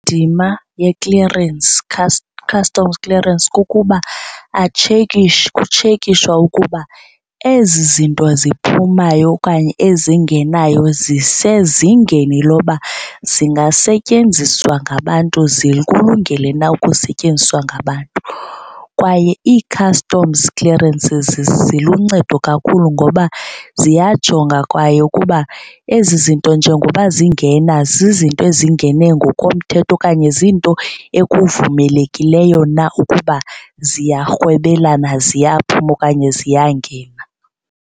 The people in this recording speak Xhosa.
Ndima ye-clearance, customs clearance kukuba kutshekishwa ukuba ezi zinto ziphumayo okanye ezingenayo zisezingeni loba zingasetyenziswa ngabantu zikulungele na ukusetyenziswa ngabantu. Kwaye ii-customs clearances ziluncedo kakhulu ngoba ziyajonga kwaye ukuba ezi zinto njengoba zingena zizinto ezingene ngokomthetho okanye ziinto ekuvumelekileyo na ukuba ziyarhwebelana ziyaphuma okanye ziyangena.